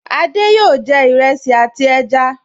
Adé yòó jẹ iresi àti ẹja